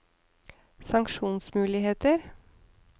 sanksjonsmuligheter